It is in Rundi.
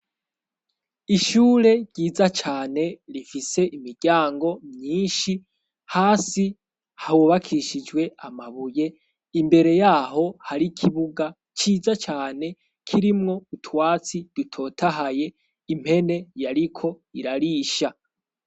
Ishure ryiza cane rifise imiryango myinshi hasi hahubakishijwe amabuye. Imbere yaho hari kibuga ciza cyane kirimwo utwatsi dutotahaye impene yariko irarisha.